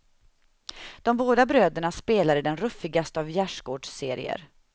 De båda bröderna spelar i den ruffigaste av gärdsgårdsserier.